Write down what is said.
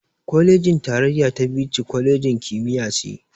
Kwalejin tarayya ta Bichi, kwalejin kimiyya ce.